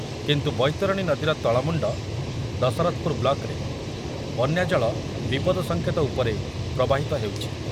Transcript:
କିନ୍ତୁ ବୈତରଣୀ ନଦୀର ତଳମୁଣ୍ଡ ଦଶରଥପୁର ବ୍ଲକ୍‌ରେ ବନ୍ୟାଜଳ ବିପଦ ସଂକେତ ଉପରେ ପ୍ରବାହିତ ହେଉଛି।